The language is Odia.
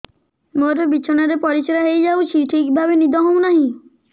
ମୋର ବିଛଣାରେ ପରିସ୍ରା ହେଇଯାଉଛି ଠିକ ଭାବେ ନିଦ ହଉ ନାହିଁ